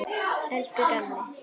Elsku gamli.